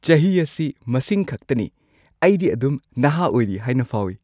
ꯆꯍꯤ ꯑꯁꯤ ꯃꯁꯤꯡ ꯈꯛꯇꯅꯤ꯫ ꯑꯩꯗꯤ ꯑꯗꯨꯝ ꯅꯍꯥ ꯑꯣꯏꯔꯤ ꯍꯥꯏꯅ ꯐꯥꯎꯏ꯫